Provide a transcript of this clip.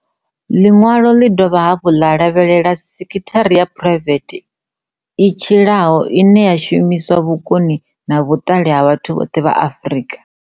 Ḽiṅwalo ḽi dovha hafhu ḽa lavhelela sekithara ya phuraivethe i tshilaho, ine ya shumisa vhukoni na vhuṱali ha vhathu vhoṱhe vha Afrika.